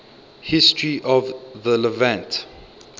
history of the levant